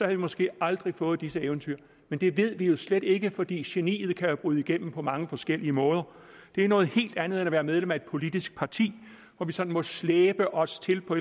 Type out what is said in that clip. vi måske aldrig fået disse eventyr men det ved vi slet ikke fordi geniet jo kan bryde igennem på mange forskellige måder det er noget helt andet end at være medlem af et politisk parti hvor vi sådan må slæbe os til på